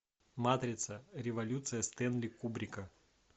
матрица революция стэнли кубрика